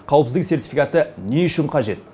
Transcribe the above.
қауіпсіздік сертификаты не үшін қажет